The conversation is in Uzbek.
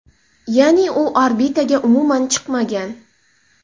Ya’ni u orbitaga umuman chiqmagan.